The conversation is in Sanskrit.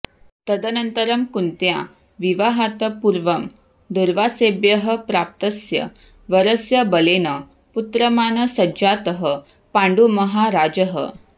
तदनन्तरं कुन्त्या विवाहात् पूर्वं दूर्वासेभ्यः प्राप्तस्य वरस्य बलेन पुत्रमान् सञ्जातः पाण्डुमहाराजः